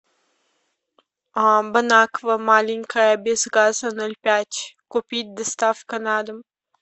бонаква маленькая без газа ноль пять купить доставка на дом